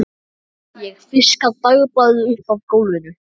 Ég fiska dagblaðið upp af gólfinu.